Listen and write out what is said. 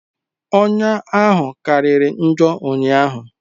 Ọnya ahụ kara njọ ụnyaahụ